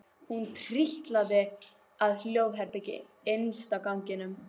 Hún trítlaði að hjónaherberginu innst á ganginum.